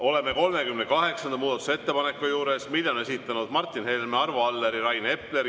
Oleme 38. muudatusettepaneku juures, mille on esitanud Martin Helme, Arvo Aller ja Rain Epler.